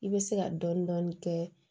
I bɛ se ka dɔɔnin dɔɔnin kɛ